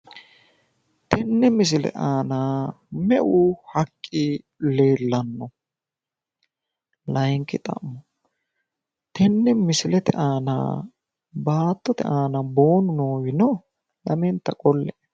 tenee misiile anna meu haqqi leelano tene misiile aana baatotte aana boonu noowi noo